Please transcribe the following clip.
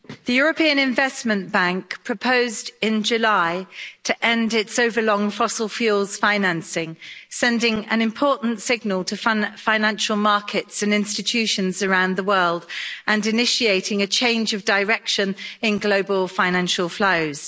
Mr President, the European Investment Bank proposed in July to end its overlong fossil fuels financing, sending an important signal to financial markets and institutions around the world and initiating a change of direction in global financial flows.